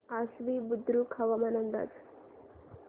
आश्वी बुद्रुक हवामान अंदाज